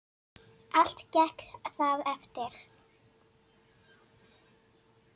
Allt gekk það eftir.